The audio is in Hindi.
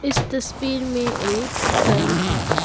इस तस्वीर में एक घर है।